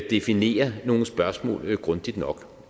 definere nogle spørgsmål grundigt nok